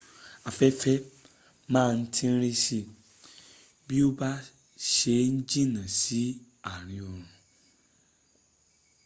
afẹ́fẹ́ ma ń tíńrín sí i bí o bá se n jìnnà sí ààrin òòrùn